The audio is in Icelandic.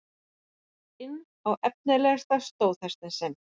inn á efnilegasta stóðhestinn sinn.